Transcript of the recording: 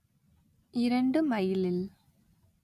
இரண்டு மைலில்